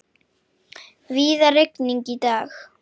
Víða rigning í dag